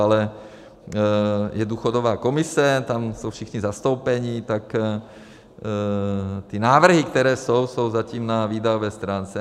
Ale je důchodová komise, tam jsou všichni zastoupeni, tak ty návrhy, které jsou, jsou zatím na výdajové stránce.